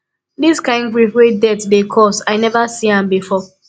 di kain grief wey death dey cause i neva see am before